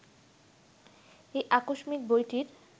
এই আকস্মিক বইটির